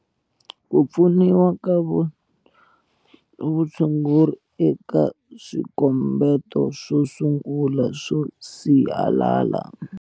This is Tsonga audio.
Ku pfuniwa ka vutshunguri eka swikombeto swo sungula swo sihalala.